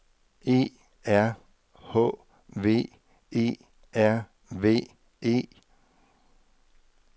E R H V E R V E